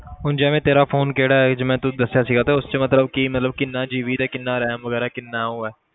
ਹੁਣ ਜਿਵੇਂ ਤੇਰਾ phone ਕਿਹੜਾ ਹੈ ਜਿਵੇਂ ਤੂੰ ਦੱਸਿਆ ਸੀਗਾ ਤੇ ਉਸ 'ਚ ਮਤਲਬ ਕੀ ਮਤਲਬ ਕਿੰਨਾ GB ਤੇ ਕਿੰਨਾ RAM ਵਗ਼ੈਰਾ ਕਿੰਨਾ ਉਹ ਹੈ?